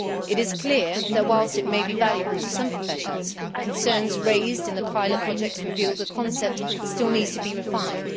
It is clear that whilst it may be valuable to some professions, concerns raised in the pilot projects reveal that the concept still needs to be refined.